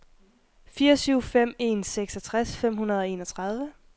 fire syv fem en seksogtres fem hundrede og enogtredive